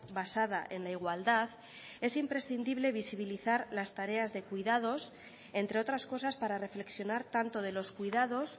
basada en la igualdad es imprescindible visibilizar las tareas de cuidados entre otras cosas para reflexionar tanto de los cuidados